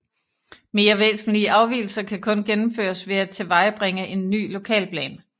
Mere væsentlige afvigelser kan kun gennemføres ved at tilvejebringe en ny lokalplan